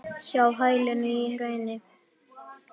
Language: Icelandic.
Hjá hælinu í hrauni.